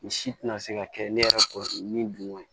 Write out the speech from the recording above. Nin si tɛna se ka kɛ ne yɛrɛ kɔrɔ min dun koyi